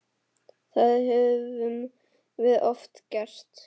Það höfum við oft gert.